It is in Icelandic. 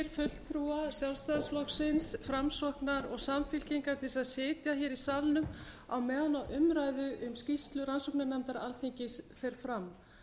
fulltrúa sjálfstæðisflokksins framsóknar og samfylkingar til að sitja í salnum meðan á umræðu um skýrslu rannsóknarnefndar alþingis fer fram